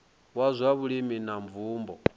wa zwa vhulimi na mvumbo